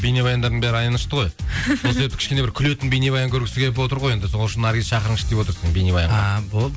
бейнебаяндарының бәрі аянышты ғой сол себепті кішкене бір күлетін бейнебаян көргісі келіп отыр ғой енді сол үшін наргизді шақырыңызшы деп отыр бейнебаянға а болды